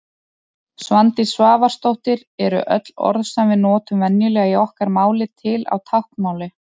Svandís Svavarsdóttir Eru öll orð sem við notum venjulega í okkar máli til á táknmáli?